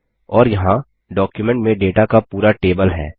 और यहाँ डॉक्युमेंट में डेटा का पूरा टेबल है